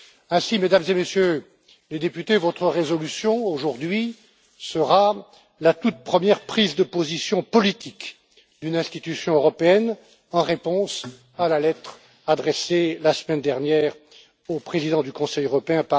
Ainsi, Mesdames et Messieurs les députés, votre résolution aujourd'hui sera la toute première prise de position politique d'une institution européenne en réponse à la lettre que Theresa May a adressée la semaine dernière au Président du Conseil européen.